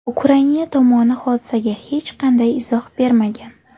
Ukraina tomoni hodisaga hech qanday izoh bermagan.